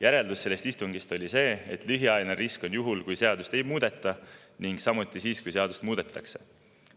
Järeldus sellest istungist oli see, et lühiajaline risk on juhul, kui seadust ei muudeta, ning samuti siis, kui seadust muudetakse.